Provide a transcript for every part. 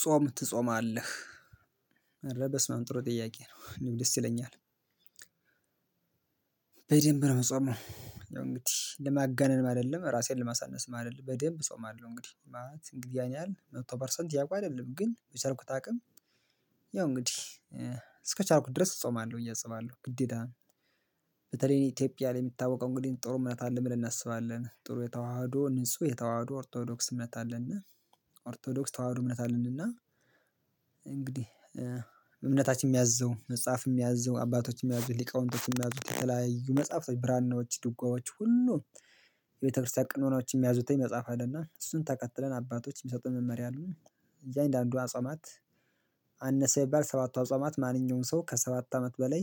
ጾም ትጾማለህ አረ በስመአብ ጥሩ ጥያቄ ነው ደስ ይለኛል። በደንብ ነው የምጾመው እንግዲህ ለማጋነንም አይደለም ራሴን ለማሳነስም አይደለም በደንብ ፆማለሁ እንግዲህ ማለት እንግዲህ ያን ያህል መቶ ፐርሰንት ያውቃል አይደለም ግን በቻልኩት አቅም ያው እንግዲህ እስከቻልኩት ድረስ እጾማለሁ ብዬ አስባለሁ ግዴታ ነው። በተለይ ኢትዮጵያ ላይ የሚታወቀው እንግዲህ ጥሩ እምነት አለ ብለን እናስባለን ጥሩ የተዋሃዶ ንጹህ የተዋሃዶ ኦርቶዶክስ እምነት አለ እና ኦርቶዶክስ ተዋህዶ እምነት አለን እና እንግዲህ እምነታችን የሚያዝዘው መጽሐፍ የሚያዝዘው አባቶች የሚያዙት ሊቃውንቶች የሚያዙት የተለያዩ መጽሐፍቶች ብራናዎች ድጓዎች ሁሉ የቤተክርስቲያን ቀኖናዎች የሚያዙት መጽሐፍ አለና እሱን ተከትለን አባቶች የሚሰጡን መመሪያ። እያንዳንዱ አጿማት አነሰ ቢባል ሰባቱ አጿማት ማንኛውም ሰው ከሰባት አመት በላይ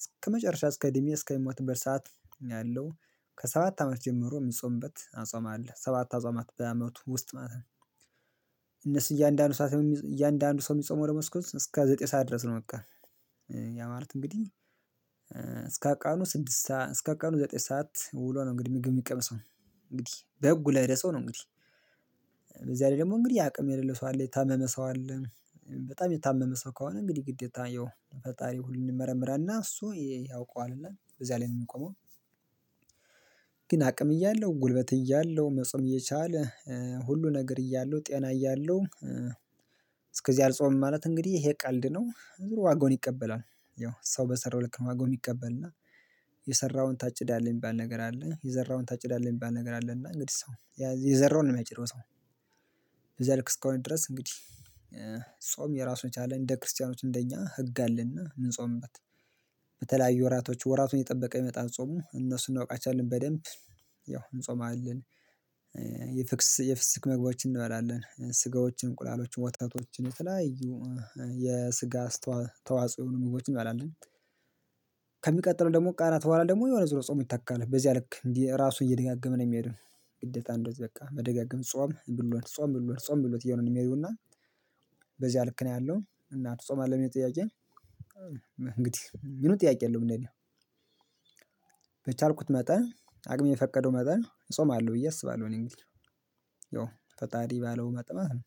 እስከመጨረሻ እስከ እድሜ እስከሚሞትበት ሰዓት ያለው ከሰባት አመት ጀምሮ የሚጾምበት አጿም አለ ሰባት አጿማት በዓመቱ ውስጥ ማለት ነው። እነሱ እያንዳንዱ ሰዓት እያንዳንዱ ሰው የሚጾመው ለመስኮት እስከ ዘጠኝ ሰዓት ድረስ ነው በቃ። ያ ማለት እንግዲህ እስከ ቀኑ ስድስት እስከ ቀኑ ዘጠኝ ሰዓት ውሎ ነው እንግዲህ የሚቀመሰው እንግዲህ በህጉ ለሄደ ሰው ነው እንግዲህ። በዚያ ላይ ደግሞ እንግዲህ አቅም የሌለው ሰው አለ የታመመ ሰው አለ። በጣም የታመመ ሰው ከሆነ እንግዲህ ግዴታ ያው ፈጣሪ ሁሉን ይመረምራልና እሱ ያውቀዋል እዛ ላይ ነው የሚቆመው። ግን አቅም እያለሁ ጉልበት እያለሁ መጾም እየቻለ ሁሉ ነገር እያለው ጤና እያለው። እስከዚህ አልጾምም ማለት እንግዲህ ይሄ ቀልድ ነው ዋጋውን ይቀበላል። ያው ሰው በሰራው ልክ ነው ዋጋውን ይቀበልና። የሰራውን ታጭዳለህ የሚባል ነገር አለ የዘራውን ታጭዳለህ የሚባል ነገር አለና እንግዲህ ሰው የዘራውን ነው የሚያጭደው ሰው። እዛ ልክ እስከሆነ ድረስ እንግዲህ ጾም ራሱን የቻለ እንደ ክርስቲያኖች እንደ እኛ ህግ አለና ምንጾምበት። በተለያዩ ወራቶች ወራቱን እየጠበቀ ይመጣል ጾሙ እነሱን እናውቃቸዋለን በደንብ ያው እንጾማለን። የፍስክ ምግቦችን እንበላለን ስጋዎችን እንቁላሎችን ወተቶችን የተለያዩ የስጋ ተዋጽኦ የሆኑ ምግቦችን እንበላለን። ከሚቀጥለው ደግሞ ቃላት በኋላ ደግሞ የሆነ ዙር ጾም ይታካል በዚያ ልክ እንዲህ ራሱ እየደጋገምን የሚሄድ። ግዴታ እንደዚህ በቃ መደጋገም ጾም ብሎት ጾም ብሎት ጾም ብሎት እየሆነን የሚሄዱና። በዚያ ልክ ነው ያለው እና ትጾማለህ የሚል ጥያቄ? እንግዲህ ምንም ጥያቄ የለውም እንደኔ። በቻልኩት መጠን አቅም የፈቀደው መጠን ጾማለሁ ብዬ አስባለሁ እኔ እንግዲህ ያው ፈጣሪ ባለው መጠን ማለት ነው።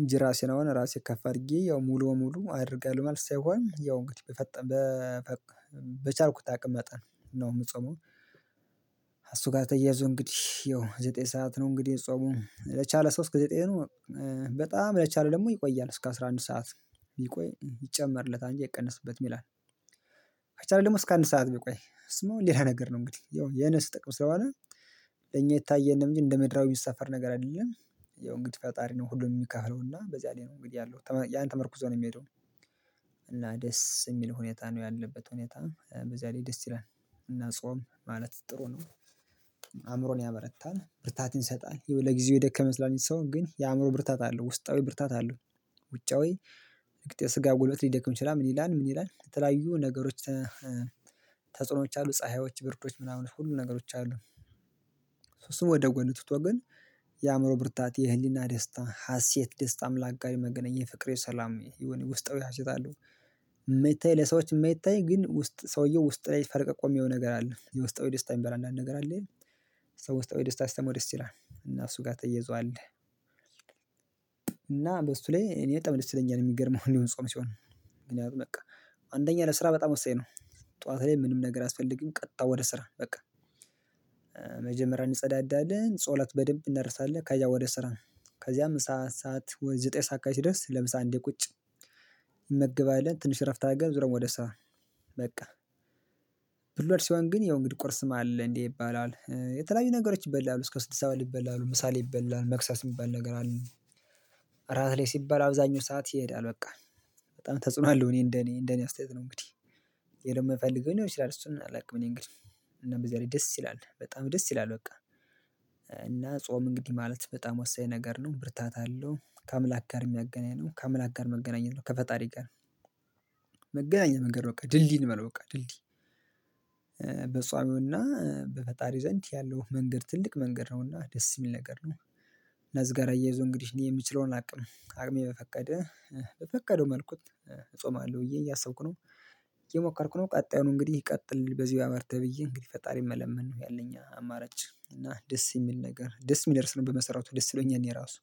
እንጂ ራሴን አሁን ራሴ ከፍ አድርጌ ያው ሙሉ በሙሉ አድርጋለሁ ማለት ሳይሆን ያው እንግዲህ አቅም መጠን ነው የምጸመው። ከእሱ ጋር ተያይዞ እንግዲህ ያው ዘጠኝ ሰዓት ነው እንግዲህ ጾሙ ለቻለ ሰው እስከ ጤኑ በጣም ለቻለ ደግሞ ይቆያል እስከ አስራ አንድ ሰዓት ቢቆይ ይጨመርለታል እንጂ አይቀነስበትም ይላል። ከቻለ ደግሞ እስከ አንድ ሰዓት ቢቆይ እሱማ እንዴት አይነት ነገር ነው እንግዲህ ያው የነፍስ ጥቅም ስለሆነ ለኛ አይታየንም እንጂ እንደ ምድራዊ ሰፈር ነገር አይደለም። ያው እንግዲህ ፈጣሪ ነው ሁሉንም የሚከፍለው እና በዚያ ላይ ነው እንግዲህ ያለው ያን ተመርኩዞ ነው የሚሄደው። እና ደስ የሚል ሁኔታ ነው ያለበት ሁኔታ በዚያ ላይ ደስ ይላል። እና ጾም ማለት ጥሩ ነው። አእምሮን ያበረታል ብርታትን ይሰጣል ይኸው ለጊዜው የደከመ ይመስላል እንጂ ሰው ግን የአእምሮ ብርታት አለው ውስጣዊ ብርታት አለው። ውጫዊ የስጋ ጉልበት ሊደክም ይችላል ምን ይላል ምን ይላል የተለያዩ ነገሮች? ተጽዕኖዎች አሉ ፀሀዮች ብርዶች ምናምን ሁሉ ነገሮች አሉ። እሱ እሱን ወደ ጎን ትቶ ግን። የአእምሮ ብርታት የህሊና ደስታ ሀሴት ደስታ አምላክ ጋር የመገናኘት የፍቅር የሰላም የሆነ ውስጣዊ ሀሴት አለወ። የማይታይ ለሰዎች የማይታይ ግን ውስጥ ሰውየው ውስጥ ሰውየው ውስጥ ላይ ፈልቀቆ የሚያየው ነገር አለ የውስጣዊ ደስታ የሚባል አንድ ነገር አለ። ሰው ውስጣዊ ደስታ ሲሰማው ደስ ይላል እና እሱ ጋር ተይዟል። እና በሱ ላይ እኔ በጣም ደስ ይለኛል የሚገርምህ እኔ ጾም ሲሆን። አንደኛ ለስራ በጣም ወሳኝ ነው። ጠዋት ላይ ምንም ነገር አያስፈልግም ቀጥታ ወደ ስራ በቃ። መጀመሪያ እንጸዳዳለን ጸሎት በደንብ እናደርሳለን ከዝያ ወደ ስራ ነው። ከዚያም ሰዓት ሰዓት ወይ ዘጠኝ ሰዓት ሲደርስ ለምሳሌ አንዴ ቁጭ። እንመገባለን ትንሽ እረፍት አርገን ዙረን ወደ ስራ። በቃ። ብሎት ሲሆን ግን ያው እንግዲህ ቁርስም አለ እንዴ ይባላል የተለያዩ ነገሮች ይበላሉ እስከ ስድስት ሰዓት ይበላል ምሳ ላይ ይበላል መክሰስ የሚባል ነገር አለ። እራት ላይ ሲባል አብዛኛው ሰዓት ይሄዳል በቃ። በጣም ተጽዕኖ አለው እኔ እንደ እኔ እንደ እኔ አስተያየት ነው እንግዲህ። ወይ ደግሞ ፈልጎ ሊሆን ይችላል እሱን አላውቅም። እኔ እንግዲህ እና በዚያ ላይ ደስ ይላል በጣም ደስ ይላል በቃ። እና ጾም እንግዲህ ማለት በጣም ወሳኝ ነገር ነው ብርታት አለው ከአምላክ ጋር የሚያገናኝ ነው ከአምላክ ጋር መገናኘት ነው ከፈጣሪ ጋር። መገናኛ መንገድ በቃ ድልድይ ነው በቃ ድልድይ። በጿሚውና በፈጣሪ ዘንድ ያለው መንገድ ትልቅ መንገድ ነውና ደስ የሚል ነገር ነው። ነዝገራ እያይዞ እንግዲህ የምችለውን አቅም አቅሜ በፈቀደ በፈቀደው መልኩ እጾማለሁ ብዬ እያሰብኩ ነው። እየሞከርኩ ነው ቀጣዩን እንግዲህ ቀጥል በዚህ ያበርታህ ብዬ እንግዲህ ፈጣሪን መለመን ነው ያለኝ አማራጭ እና ደስ የሚል ነገር ደስ የሚደርስ ነው በመሰራቱ ደስ ይለኛል የኔ ራሱ።